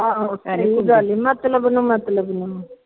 ਆਹੋ ਮਤਲਬ ਨੂੰ ਮਤਲਬ ਨੂੰ